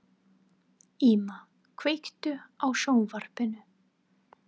Íma, kveiktu á sjónvarpinu.